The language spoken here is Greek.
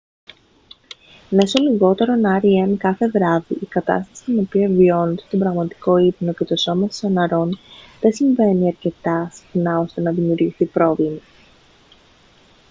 μέσω λιγότερων rem κάθε βράδυ η κατάσταση κατά την οποία βιώνετε τον πραγματικό ύπνο και το σώμα σας αναρρώνει δεν συμβαίνει αρκετά συχνά ώστε να δημιουργηθεί πρόβλημα